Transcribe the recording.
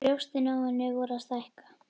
Brjóstin á henni voru að stækka.